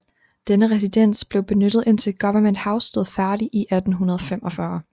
Denne residens blev benyttet indtil Government House stod færdig i 1845